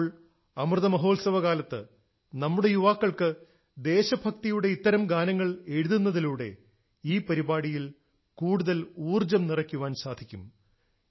ഇപ്പോൾ അമൃതമഹോത്സവ കാലത്ത് നമ്മുടെ യുവാക്കൾക്ക് ദേശഭക്തിയുടെ ഇത്തരം ഗാനങ്ങൾ എഴുതുന്നതിലൂടെ ഈ പരിപാടിയിൽ കൂടുതൽ ഊർജ്ജം നിറയ്ക്കാൻ സാധിക്കും